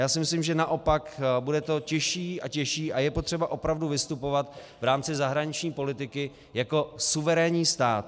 Já si myslím, že naopak, bude to těžší a těžší a je potřeba opravdu vystupovat v rámci zahraniční politiky jako suverénní stát.